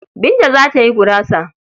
Binta za ta yi gurasa.